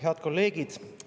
Head kolleegid!